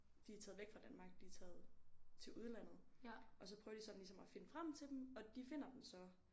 De er taget væk fra Danmark de er taget til udlandet og så prøver de sådan ligesom at finde frem til dem og de finder dem så